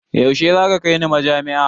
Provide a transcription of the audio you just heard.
Yaushe za ka kai ni majami'a?